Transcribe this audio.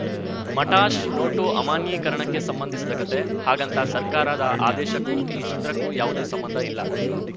Matash note ಅಮಾನ್ಯೀಕರಣಕ್ಕೆ ಸಂಬಂಧಿಸಿದ ಕತೆ ಹಾಗಂತ ಸರ್ಕಾರದ ಆದೇಶಕ್ಕೂ ಈ ಚಿತ್ರಕ್ಕೂ ಯಾವುದೇ ಸಂಬಂಧ ಇಲ್ಲ